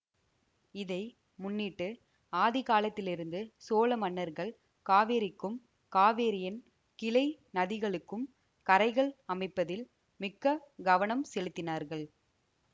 இதை முன்னிட்டு ஆதிகாலத்திலிருந்து சோழமன்னர்கள் காவேரிக்கும் காவேரியின் கிளை நதிகளுக்கும் கரைகள் அமைப்பதில் மிக்க கவனம் செலுத்தினார்கள்